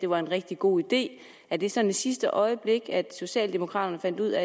var en rigtig god idé er det sådan i sidste øjeblik at socialdemokraterne fandt ud